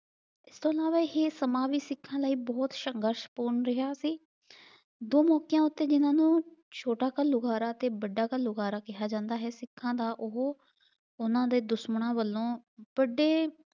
ਇਸਤੋਂ ਇਲਾਵਾ ਇਹ ਸਮਾਂ ਵੀ ਸਿੱਖਾਂ ਲਈ ਬਹੁਤ ਸੰਘਰਸ਼ ਪੂਰਨ ਰਿਹਾ ਸੀ। ਦੋ ਮੌਕਿਆਂ ਉੱਤੇ ਜਿਹਨਾਂ ਨੂੰ ਛੋਟਾ ਘਲੂਘਾਰਾ ਤੇ ਵੱਡਾ ਘਲੂਘਾਰਾ ਕਿਹਾ ਜਾਂਦਾ ਹੈ, ਸਿੱਖਾਂ ਦਾ ਉਹ ਉਹਨਾਂ ਦੇ ਦੁਸ਼ਮਣਾਂ ਵਲੋਂ ਵੱਡੇ